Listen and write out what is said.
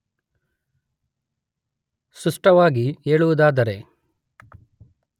ಸ್ಪಷ್ಟವಾಗಿ ಹೇಳುವುದಾದರೆ